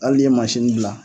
Hali ni ye mansini bila